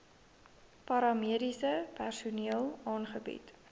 paramediese personeel aangebied